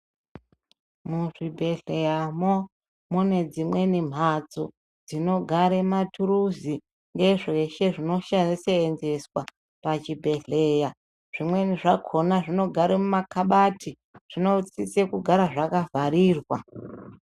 Muzvibhehleya mo mune dzimweni matso dzinogara maturuzi nezveshe zvinoseenzeswa pachibhehleya zvimweni zvakona zvinogara mumakabhati zvinosisa kugara zvakavharirwa.